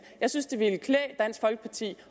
jeg synes det ville klæde dansk folkeparti